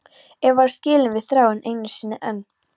Eva er skilin við Þráin einu sinni enn.